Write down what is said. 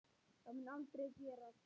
Það mun aldrei gerast.